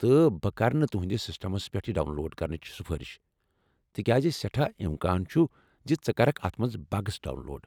تہٕ بہٕ كرٕ نہٕ تہنٛدس سسٹمس پٮ۪ٹھ یہِ ڈاؤن لوڈ کرنٕچ سُفٲرِش تکیاز سیٹھاہ امكان چُھ زِ ژٕ كركھ اتھ منز بگس ڈاون لوڈ ۔